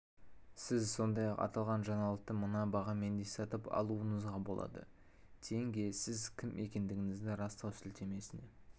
сіз сондай-ақ аталған жаңалықты мына бағамен де сатып алуыңызға болады тенге сіз кім екендігіңізді растау сілтемесіне